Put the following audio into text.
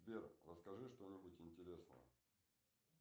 сбер расскажи что нибудь интересное